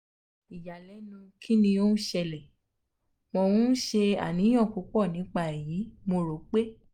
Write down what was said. iyalẹnu kini o n sele? mo n um ṣe aniyan pupọ nipa eyi mo ro um pe